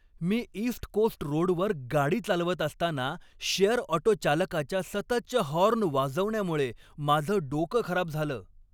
मी east coast रोडवर गाडी चालवत असताना शेअर ऑटो चालकाच्या सततच्या हॉर्न वाजवण्यामुळे माझं डोकं खराब झालं.